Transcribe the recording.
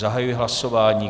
Zahajuji hlasování.